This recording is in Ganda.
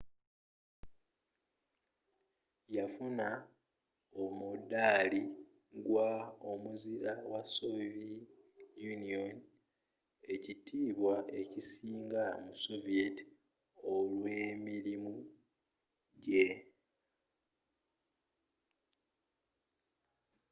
yafuna omuddaali ggwa omuzira wa sovie union” ekitiibwa ekisinga mu soviet olw’emirimu jje